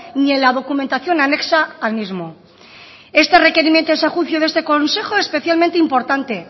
ni en la documentación anexa al mismo este requerimiento es a ese juicio de este consejo especialmente importante